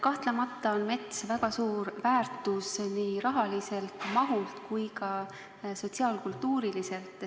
Kahtlemata on mets väga suur väärtus nii rahalises kui ka sotsiaal-kultuurilises mõttes.